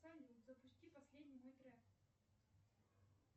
салют запусти последний мой трек